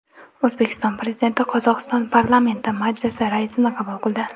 O‘zbekiston Prezidenti Qozog‘iston Parlamenti Majlisi raisini qabul qildi.